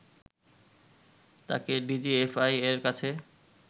তাকে ডিজিএফআই এর কাছে